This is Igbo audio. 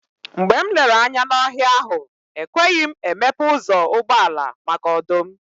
Mgbe m lere anya n'ọhịa ahụ, ekweghị m emepe ụzọ ụgbọala, maka ọdụm.